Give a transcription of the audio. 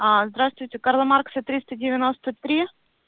а здравствуйте карла маркса триста девянноста три